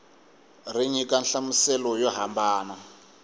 ri nyika nhlamuselo yo hambana